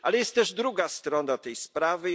Ale jest też druga strona tej sprawy.